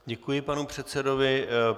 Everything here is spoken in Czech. Děkuji panu předsedovi.